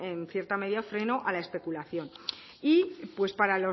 en cierta medida freno a la especulación y pues para